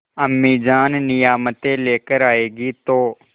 अम्मीजान नियामतें लेकर आएँगी तो